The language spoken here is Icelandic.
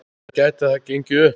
En gæti það gengið upp?